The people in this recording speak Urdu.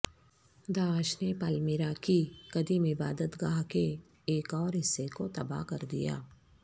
داعش نے پالمیرا کی قدیم عبادت گاہ کے ایک اور حصے کو تباہ کر دیا